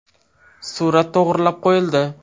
Surat to‘g‘rilab qo‘yildi.